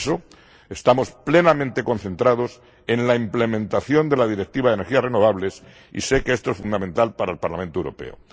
Por eso, estamos plenamente concentrados en la implementación de la Directiva de energías renovables y sé que esto es fundamental para el Parlamento Europeo.